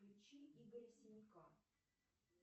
включи игоря синяка